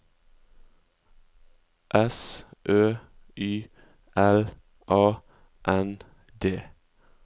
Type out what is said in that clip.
S Ø Y L A N D